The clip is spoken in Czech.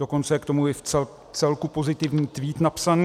Dokonce je k tomu i vcelku pozitivní tweet napsaný.